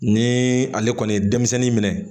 Ni ale kɔni ye denmisɛnnin minɛ